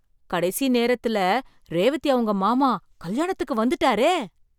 கடைசி நேரத்தில் ரேவதி அவங்க மாமா கல்யாணத்துக்கு வந்துட்டாரே!